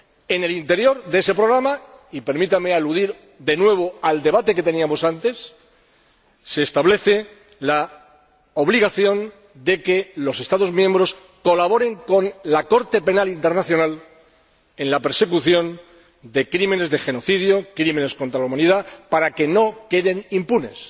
En el interior de ese programa —y permítanme aludir de nuevo al debate anterior— se establece la obligación de que los Estados miembros colaboren con la Corte Penal Internacional en la persecución de crímenes de genocidio, crímenes contra la humanidad, para que no queden impunes.